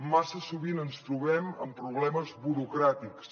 massa sovint ens trobem amb problemes burocràtics